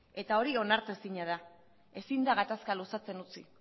eta hori onartezina da ezin da gatazka luzatzen utzi